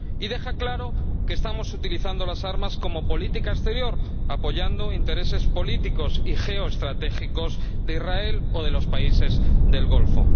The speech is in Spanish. Queda claro que estamos utilizando las armas como política exterior, apoyando intereses políticos y geoestratégicos de Israel o de los países del Golfo.